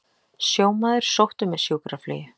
Sjómaður sóttur með sjúkraflugi